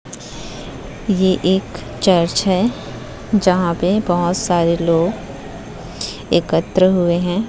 ये यह एक चर्च है जहां पर बहुत सारे लोग एकत्र हुए हैं।